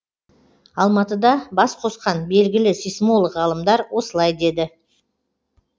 алматыда бас қосқан белгілі сейсмолог ғалымдар осылай деді